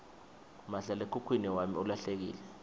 mahlalekhukhwini wami ulahlekile